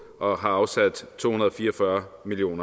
og har afsat to hundrede og fire og fyrre million